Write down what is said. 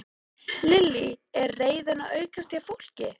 Lillý: Er reiðin að aukast hjá fólki?